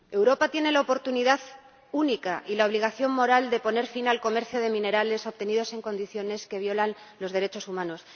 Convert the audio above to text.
Señor Presidente, Europa tiene la oportunidad única y la obligación moral de poner fin al comercio de minerales obtenidos en condiciones que violan los derechos humanos.